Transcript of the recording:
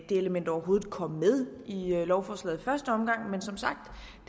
det element overhovedet kom med i lovforslaget i første omgang men som sagt